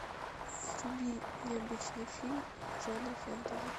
вруби необычный фильм жанра фэнтези